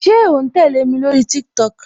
Ṣé o ń tẹle mi lórí TikTok?